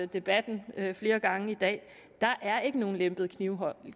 debatten flere gange i dag der er ikke nogen lempet knivlov